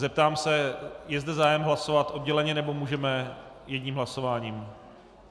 Zeptám se: je zde zájem hlasovat odděleně, nebo můžeme jedním hlasováním?